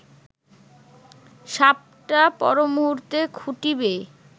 সাপটা পরমুহূর্তে খুঁটি বেয়ে